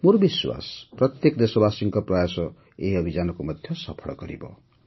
ମୋର ବିଶ୍ୱାସ ଯେ ପ୍ରତ୍ୟେକ ଦେଶବାସୀଙ୍କ ପ୍ରୟାସ ଏହି ଅଭିଯାନକୁ ମଧ୍ୟ ସଫଳ କରିବ